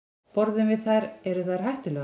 Borðum við þær, eru þær hættulegar?